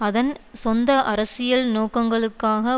அதன் சொந்த அரசியல் நோக்கங்களுக்காக